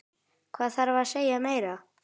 Hvað þarf að segja meira?